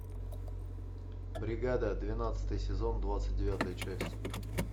бригада двенадцатый сезон двадцать девятая часть